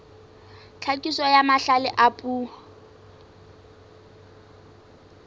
tlhakiso ya mahlale a puo